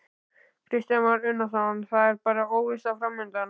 Kristján Már Unnarsson: Það er bara óvissa framundan?